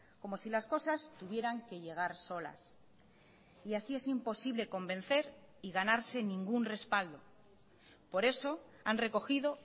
como si las cosas tuvieran que llegar solas y así es imposible convencer y ganarse ningún respaldo por eso han recogido